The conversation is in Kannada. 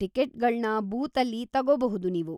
ಟಿಕೆಟ್‌ಗಳ್ನ ಬೂತಲ್ಲಿ ತಗೋಬಹ್ದು ನೀವು.